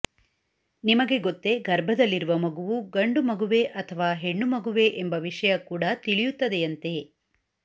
ನಿಮಗೆ ಗೊತ್ತೆ ಗರ್ಭದಲ್ಲಿರುವ ಮಗುವು ಗಂಡು ಮಗುವೇ ಅಥವಾ ಹೆಣ್ಣು ಮಗುವೇ ಎಂಬ ವಿಷಯ ಕೂಡ ತಿಳಿಯುತ್ತದೆ ಎಂತೆ